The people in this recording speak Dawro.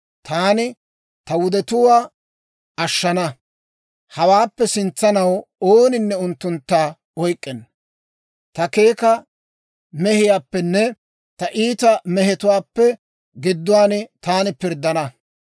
taani ta wudetuwaa ashshana. Hawaappe sintsaw ooninne unttuntta oyk'k'enna; ta keeka mehiyaappenne ta iita mehetuwaappe gidduwaan taani pirddana.